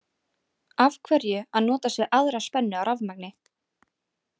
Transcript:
Af hverju að notast við aðra spennu á rafmagni?